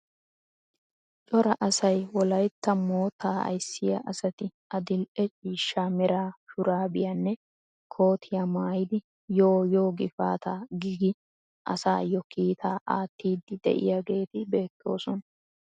Cora asay wollaytta moottaa aysiyaa asati adil"e ciishsha mera shurabiyaanne kootiyaa maayidi yoo yoo gifaataa gi gi asaayoo kiitaa aattiidi de'iyaageti beettoosona.